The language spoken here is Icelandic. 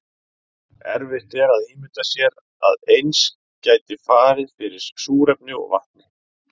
erfitt er að ímynda sér að eins gæti farið fyrir súrefni og vatni